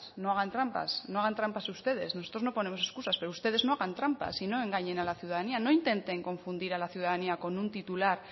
no hagan trampas no hagan trampas ustedes nosotros no ponemos escusas pero ustedes no hagan trampas y no engañen a la ciudadanía no intenten confundir a la ciudadanía con un titular